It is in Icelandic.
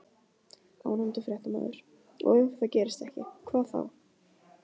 Ónefndur fréttamaður: Og ef það gerist ekki, hvað þá?